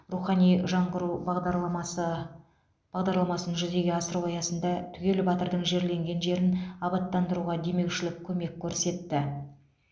рухани жаңғыру бағдарламасы бағдарламасын жүзеге асыру аясында түгел батырдың жерленген жерін абаттандыруға демеушілік көмек көрсетті